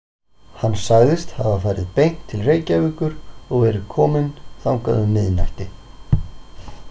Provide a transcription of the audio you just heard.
Hann sagðist hafa farið beint til Reykjavíkur og verið kominn þangað um miðnætti.